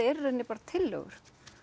eru í rauninni bara tillögur